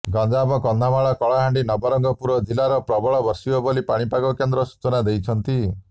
ଗଞ୍ଜାମ କନ୍ଧମାଳ କଳାହାଣ୍ଡି ନବରଙ୍ଗପୁର ଜିଲ୍ଲାରେ ପ୍ରବଳ ବର୍ଷିବ ବୋଲି ପାଣିପାଗ କେନ୍ଦ୍ର ସୂଚନା ଦେଇଛନ୍ତି